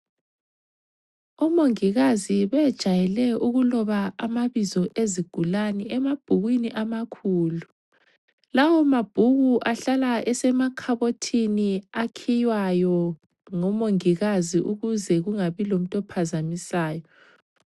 Omongikazi bejayele ukuloba amabizo ezigulane emabhukwini amakhulu. Lawomabhuku ahlala esemakhabothini akhiywayo ngomongikazi ukuze kungabi lomuntu ophazamisayo.